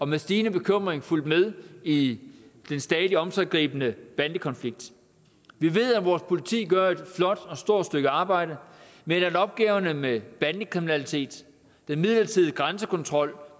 med stigende bekymring fulgt med i den stadig omsiggribende bandekonflikt vi ved at vores politi gør et flot og stort stykke arbejde men at opgaverne med bandekriminalitet den midlertidige grænsekontrol